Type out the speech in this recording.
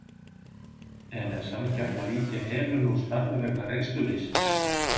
En er sanngjarnt að víkja Helenu úr starfi vegna reynsluleysis?